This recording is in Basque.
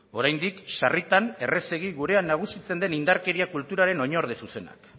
oraindik sarritan errazegi gurean nagusitzen den indarkeria kulturaren oinorde zuzenak